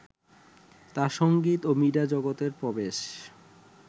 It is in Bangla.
তাঁর সঙ্গীত ও মিডিয়া জগতে প্রবেশ